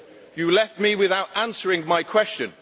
You left me without answering my question.